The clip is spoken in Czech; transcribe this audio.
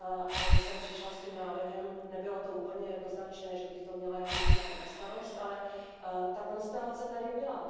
a že jsem přišla s tím návrhem nebylo to úplně jednoznačné, že bych to měla mít já na starost, ale ta konstelace tady byla.